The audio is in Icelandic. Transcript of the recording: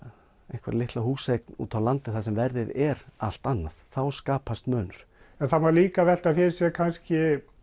einhverja litla húseign úti á landi þar sem verðið er allt annað þá skapast munur en það má líka velta fyrir sér kannski